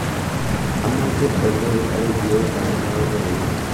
amoje oleu en kioit ab loboiyet